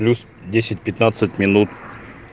плюс десять пятнадцать минут